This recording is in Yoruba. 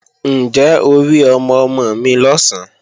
Ǹjẹ́ o rí ọmọ-ọmọ mi lọ̀sán?